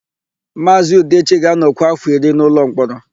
Maazị Udechi ga-anọkwu áfọ̀ iri n'ụlọmkpọrọ.